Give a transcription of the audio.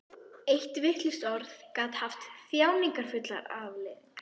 Eitt vitlaust orð gat haft þjáningarfullar afleiðingar.